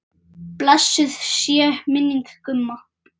Blessuð sé minning Gumma.